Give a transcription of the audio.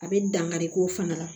A bɛ dankari k'o fana la